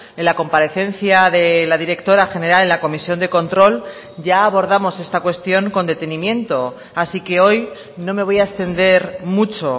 en la comparecencia de la directora general en la comisión de control ya abordamos esta cuestión con detenimiento así que hoy no me voy a extender mucho